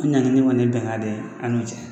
O ɲaŋini kɔni ye bɛnga de ye an n'u cɛ.